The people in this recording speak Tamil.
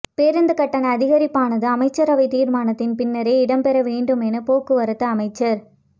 பேருந்து கட்டண அதிகரிப்பானது அமைச்சரவை தீர்மானத்தின் பின்னரே இடம்பெற வேண்டுமென போக்குவரத்து அமைச்சர்